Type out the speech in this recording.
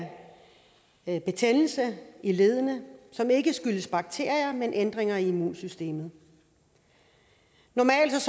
en betændelse i leddene som ikke skyldes bakterier men ændringer i immunsystemet normalt